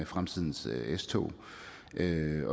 fremtidens s tog